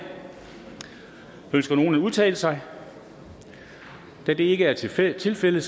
ønsker nogen at udtale sig da det ikke er tilfældet tilfældet